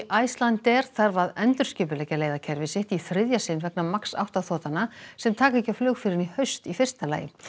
Icelandair þarf að endurskipuleggja leiðakerfi sitt í þriðja sinn vegna MAX átta sem taka ekki á flug fyrr en í haust í fyrsta lagi